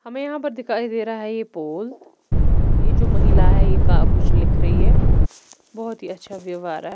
हमें यहां पर दिखाई दे रहा है यह पोल ए जो महिला है का कुछ लिख रही है बहुत ही अच्छा व्यू आ रहा है।